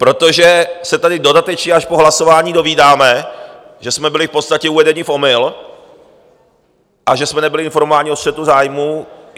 Protože se tady dodatečně až po hlasování dozvídáme, že jsme byli v podstatě uvedeni v omyl a že jsme nebyli informováni o střetu zájmů.